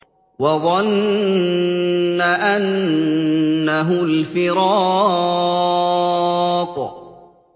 وَظَنَّ أَنَّهُ الْفِرَاقُ